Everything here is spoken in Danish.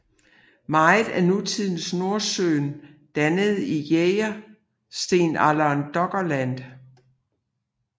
Meget af nutidens Nordsøen dannede i jægerstenalderen Doggerland